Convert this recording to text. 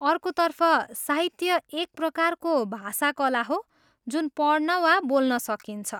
अर्कोतर्फ, साहित्य एक प्रकारको भाषा कला हो जुन पढ्न वा बोल्न सकिन्छ।